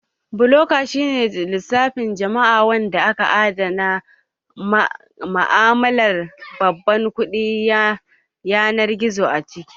Blokcain shi ne lissafin jama'a wanda aka adana ma'amalar babban kuɗin yanar gizo a ciki